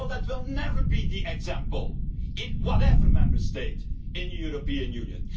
That will never be the example in whatever Member State in the European Union.